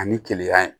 Ani keleya